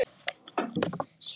át hún upp eftir honum.